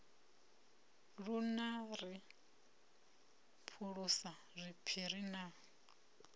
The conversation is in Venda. na ri phulisa zwiphiri na